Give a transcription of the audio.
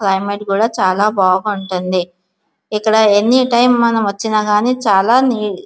Climate కూడ చాలా బాగా ఉంటుంది. ఇక్కడ ఎన్ని టైం మనం వచ్చిన గాని చాలా నీట్ --